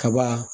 Kaba